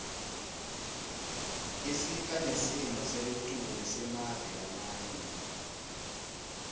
isipha nesimo selitulu semave lamanye